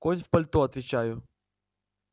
конь в пальто отвечаю